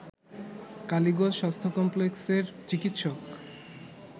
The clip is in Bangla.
কালীগঞ্জ স্বাস্থ্য কমপ্লেক্সের চিকিৎসক